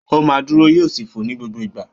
Ó máa dúró yóò sì fò ní gbogbo ìgbà.